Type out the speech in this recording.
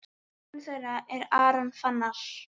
Sonur þeirra er Aron Fannar.